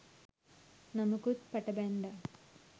නමකුත් පට බැන්දා